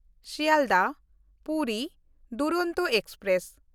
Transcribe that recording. ᱥᱤᱭᱟᱞᱫᱟᱦ–ᱯᱩᱨᱤ Duronto express